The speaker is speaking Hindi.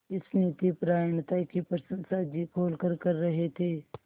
इस नीतिपरायणता की प्रशंसा जी खोलकर कर रहे थे